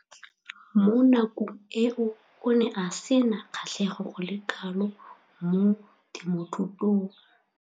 Mo nakong eo o ne a sena kgatlhego go le kalo mo temothuong.